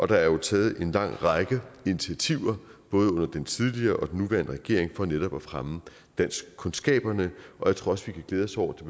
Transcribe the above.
der er jo taget en lang række initiativer både under den tidligere og den nuværende regering for netop at fremme danskkundskaberne og jeg tror også vi kan glæde os over